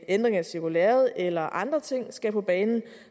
ændring af cirkulæret eller andre ting skal på banen